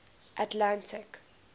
atlantic